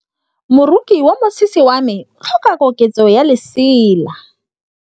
Moroki wa mosese wa me o tlhoka koketsô ya lesela.